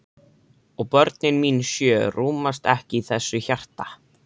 Og börnin mín sjö rúmast ekki í þessu hjarta.